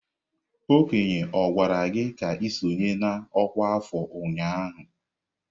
Okenye gwara gi ka i sonye na ọkwá afọ ụnyahụ?